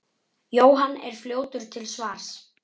Jóhann er fljótur til svars.